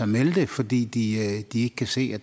melde det fordi de ikke kan se